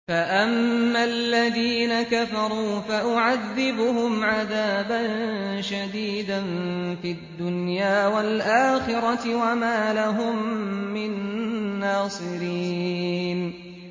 فَأَمَّا الَّذِينَ كَفَرُوا فَأُعَذِّبُهُمْ عَذَابًا شَدِيدًا فِي الدُّنْيَا وَالْآخِرَةِ وَمَا لَهُم مِّن نَّاصِرِينَ